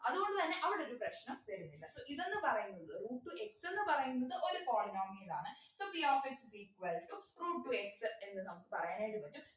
അതുകൊണ്ടുതന്നെ അവിടെ ഒരു പ്രശ്നം വരുന്നില്ല so ഇതെന്ന് പറയുന്നത് root to x ഏന്നു പറയുന്നത് ഒരു polynomial ആണ് so p of x is equal to root two x എന്ന് നമുക്ക് പറയാൻ ആയിട്ട് പറ്റും